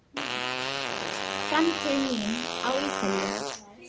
Framtíð mín á Ítalíu?